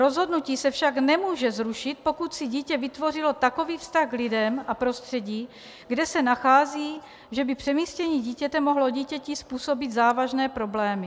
Rozhodnutí se však nemůže zrušit, pokud si dítě vytvořilo takový vztah k lidem a prostředí, kde se nachází, že by přemístění dítěte mohlo dítěti způsobit závažné problémy.